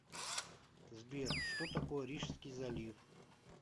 сбер что такое рижский залив